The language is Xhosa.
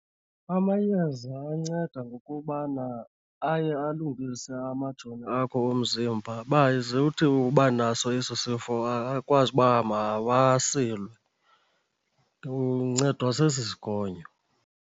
Amayeza anceda ngokubana aye alungise amajoni akho omzimba uba ze uthi uba naso eso sifo akwazi uba mawasilwe. Uncedwa sesi sigonyo.